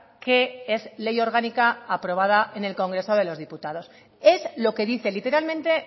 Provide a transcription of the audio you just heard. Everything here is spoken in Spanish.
que es ley orgánica aprobada en el congreso de los diputados es lo que dice literalmente